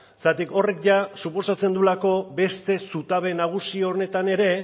zergatik horrek jada suposatzen duelako beste zutabe nagusi honetan ere